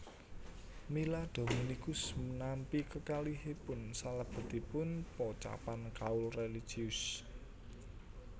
Mila Dominikus nampi kekalihipun salebetipun pocapan kaul réligius